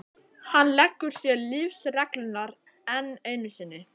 Hann leggur sér lífsreglurnar enn einu sinni.